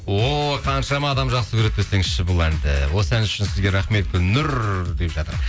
о қаншама адам жақсы көреді десеңші бұл әнді осы ән үшін сізге рахмет гүлнұр деп жатыр